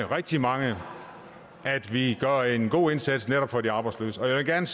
rigtig mange at vi gør en god indsats netop for de arbejdsløse jeg vil gerne